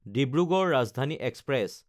Dibrugarh Rajdhani express